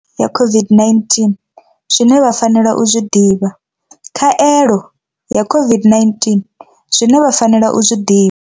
Khaelo ya COVID-19 zwine vha fanela u zwi ḓivha. Khaelo ya COVID-19 zwine vha fanela u zwi ḓivha.